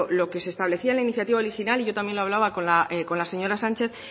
lo que se establecía en la iniciativa original y yo también lo hablaba con la señora sánchez